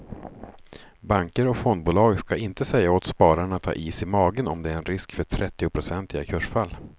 Banker och fondbolag ska inte säga åt spararna att ha is i magen om det är en risk för trettionprocentiga kursfall.